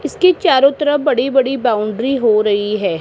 इसके चारों तरफ बड़ी बड़ी बाउंड्री हो रही है।